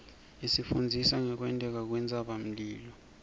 isifundzisa ngekwenteka kwentsabamlilo